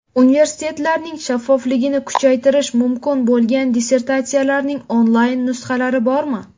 Universitetlarning shaffofligini kuchaytirishi mumkin bo‘lgan dissertatsiyalarning onlayn nusxalari bormi?